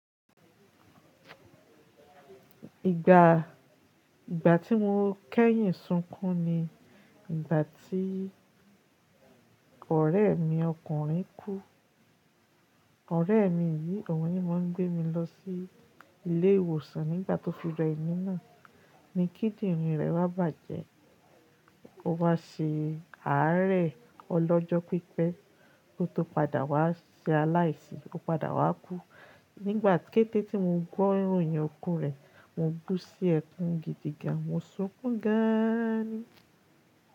Ìgbà, ìgbà tí mo kẹ́yìn sunkún ni ìgbà tí ọ̀rẹ́ mi ọkùnrin kú. Ọ̀rẹ́ mi yìí, ọ̀un ní máa ń gbé mi lọ sí ilé ìwòsàn nígbà tó fi rẹmí náà. Ni kídìnrín rẹ̀ wá bàjẹ́, ó wá ṣe ààrẹ ọlọ́jọ́ pípẹ́ kó tó padà wá ṣe aláìsí, ó padà wá kú. Nígbà kẹ́tẹ́ tí mo gbọ́ ìròyìn iku rẹ̀, mo bú sí ẹkún gidi gan, mo sunkún gaaani.